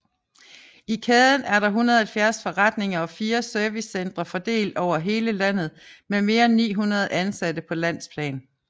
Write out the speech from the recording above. I kæden er der 170 forretninger og fire servicecentre fordelt over hele landet med mere end 900 ansatte på landsplan